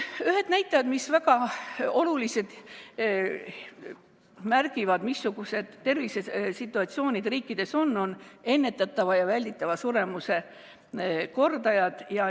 Ühed näitajad, mis väga oluliselt märgivad, missugused on tervisesituatsioonid eri riikides, on ennetatava ja välditava suremuse kordajad.